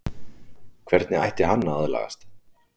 Hvernig ætti hann að aðlagast?